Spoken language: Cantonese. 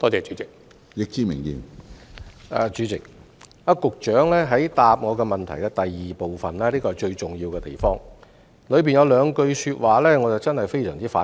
主席，局長主體答覆的第二部分是最重要的地方，當中有兩句說話令我非常反感。